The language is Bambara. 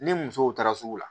Ni musow taara sugu la